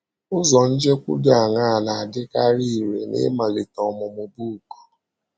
Ụzọ njekwu dị aṅaa na - adịkarị irè n’ịmalite ọmụmụ book?